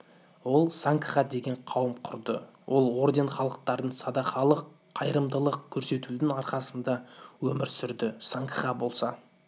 ол сангха деген қауым құрды ол орден халықтардың садақалык қайырымдылық көрсетудің арқасында өмір сүрді сангха болса